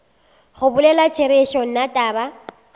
go bolela therešo nna taba